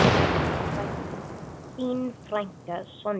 Þín frænka, Sonja.